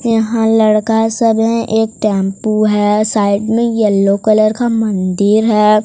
यहां लड़का सब है एक टेंपो है साइड मे येलो कलर का मंदिर है।